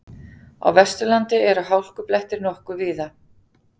Á Vesturlandi eru hálkublettir nokkuð víða